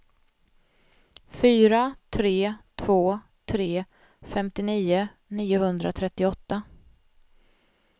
fyra tre två tre femtionio niohundratrettioåtta